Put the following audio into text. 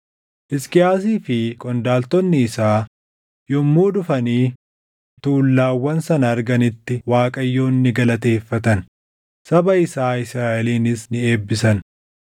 Hisqiyaasii fi qondaaltonni isaa yommuu dhufanii tuullaawwan sana arganitti Waaqayyoon ni galateeffatan; saba isaa Israaʼelinis ni eebbisan.